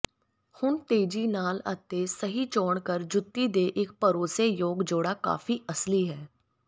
ਹੁਣ ਤੇਜ਼ੀ ਨਾਲ ਅਤੇ ਸਹੀ ਚੋਣ ਕਰ ਜੁੱਤੀ ਦੇ ਇੱਕ ਭਰੋਸੇਯੋਗ ਜੋੜਾ ਕਾਫ਼ੀ ਅਸਲੀ ਹੈ